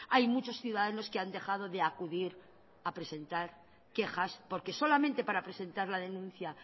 hay muchos ciudadanos que han dejado de acudir a presentar quejas porque solamente para presentar la denuncia